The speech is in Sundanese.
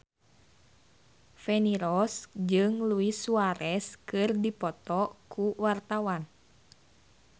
Feni Rose jeung Luis Suarez keur dipoto ku wartawan